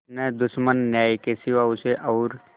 न दुश्मन न्याय के सिवा उसे और